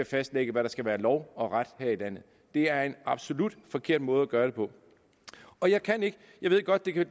fastlægge hvad der skal være lov og ret her i landet det er en absolut forkert måde at gøre det på jeg ved godt at